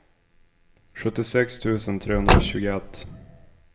sjuttiosex tusen trehundratjugoett